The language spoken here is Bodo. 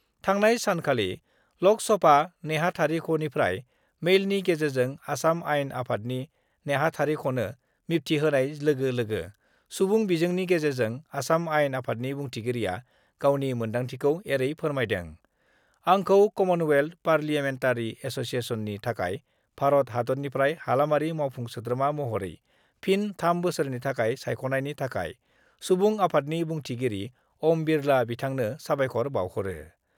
थांनाय सानखालि लक सभा नेहाथारिख'निफ्राय मेइलनि गेजेरजों आसाम आइन आफादनि नेहाथारिख'नो मिबथिहोनाय लोगो-लोगो सुबुं बिजोंनि गेजेरजों आसाम आइनआफादनि बुंथिगिरिया गावनि मोन्दांथिखौ एरै फोरमायदों-आंखौ कमनवेल्थ पारलियामेनटारि एस'सियेसननि थाखाय भारत हादतनिफ्राय हालामारि मावफुं सोद्रोमा महरै फिन थाम बोसोरनि थाखाय सायख'नायनि थाखाय सुबुं आफादनि बुंथिगिरि ओम बिरला बिथांनो साबायख'र बाउहरो।